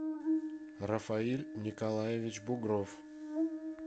рафаиль николаевич бугров